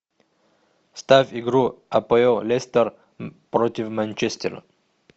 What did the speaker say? ставь игру апоэл лестер против манчестера